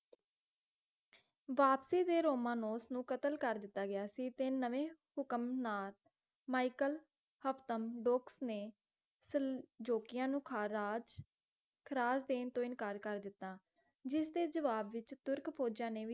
ਵਾਪਸੀ ਤੇ ਰੋਮਾਨੋਸ ਨੂੰ ਕਤਲ ਕਰ ਦਿੱਤਾ ਗਿਆ ਸੀ ਤੇ ਨਵੇਂ ਹੁਕਮ ਨਾਲ ਮਾਇਕਲ ਹਫਤਮ ਦੋਕਸ ਸਲ`ਜੋਗੀਆਂ ਨੂੰ ਖਾਰਾਜ਼ ਖਰਾਜ਼ ਦੇਣ ਤੋਂ ਇਨਕਾਰ ਦਿੱਤਾ ਜਿਸ ਦੇ ਜਵਾਬ ਵਿੱਚ ਤੁਰਕ ਫੌਜਾਂ ਨੇ ਵੀ